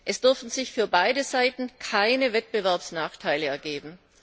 Es dürfen sich für beide Seiten keine Wettbewerbsnachteile ergeben.